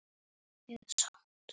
Verslun getur átt við